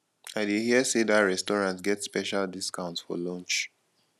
i dey hear sey dat restaurant get special discount for lunch